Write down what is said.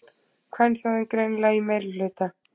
Kvenþjóðin greinilega í meirihluta.